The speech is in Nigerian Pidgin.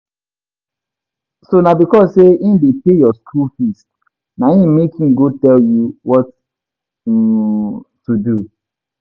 So na because say im dey pay your school fees na im make e go tell you what um to do?